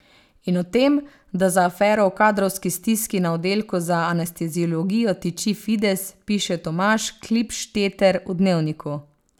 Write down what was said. In o tem, da za afero o kadrovski stiski na oddelku za anesteziologijo tiči Fides, piše Tomaž Klipšteter v Dnevniku.